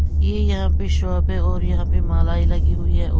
ये यहाँ पे शॉप है और यहाँ पे मालाएँ लगी हुई हैं--